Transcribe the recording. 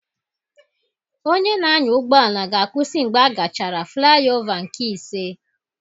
Onye na-anya ụgbọ ala ga-akwụsị mgbe agachara flayova nke ise